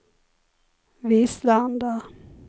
Vislanda